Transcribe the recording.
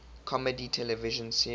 comedy television series